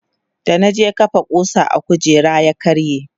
da na je kafa kusa a kujera ya karye